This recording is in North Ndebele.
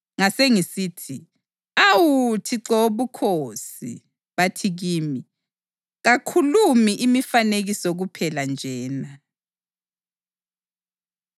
Ngasengisithi, “Awu Thixo Wobukhosi! Bathi kimi, ‘Kakhulumi imifanekiso kuphela nje na?’ ”